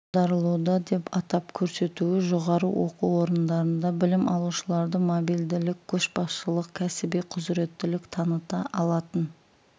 аударылуда деп атап көрсетуі жоғары оқу орындарында білім алушыларды мобильділік көшбасшылық кәсіби құзыреттілік таныта алатын